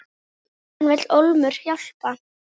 Hann vill ólmur hjálpa.